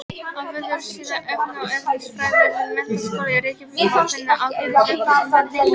Á vefsíðu efna- og eðlisfræði við Menntaskólann í Reykjavík má finna ágætis upplýsingar tengdar þessu.